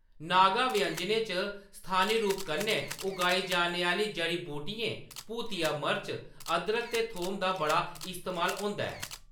नागा व्यंजनें च स्थानी रूप कन्नै उगाई जाने आह्‌‌‌ली जड़ी-बूटियें, भूतिया मर्च, अदरक ते थोम दा बड़ा इस्तेमाल होंदा ऐ।